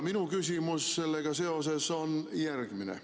Minu küsimus on sellega seoses järgmine.